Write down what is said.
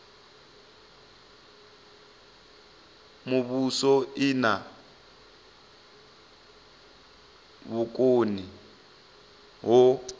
muvhuso i na vhukoni ho